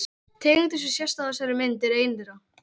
Tegundin sem sést á þessari mynd er ein þeirra.